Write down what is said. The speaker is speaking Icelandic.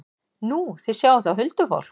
Nú, þið sjáið þá huldufólk?